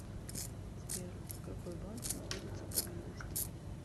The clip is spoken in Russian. сбер какой банк находится поблизости